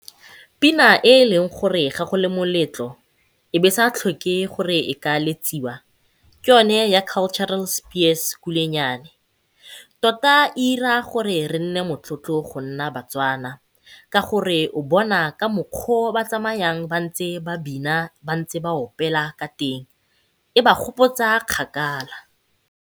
Pina e e leng gore ga go le moletlo e be e sa tlhoke gore e ka letsiwa, ke yone ya Cultural Spears Kulenyane. Tota e ira gore re nne motlotlo go nna Batswana, ka gore o bona ka mokgwa o ba tsamayang ba ntse ba bina ba ntse ba opela ka teng. E ba gopotsa kgakala.